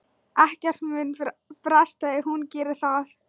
Ekkert mun bresta ef hún gerir það.